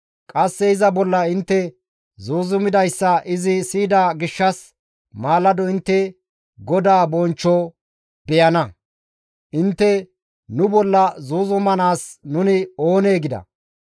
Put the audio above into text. Qasse iza bolla intte zuuzumidayssa izi siyida gishshas maalado intte GODAA bonchcho beyana. Intte nu bolla zuuzumanaas nuni oonee?» gida.